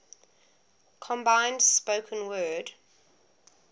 combined spoken word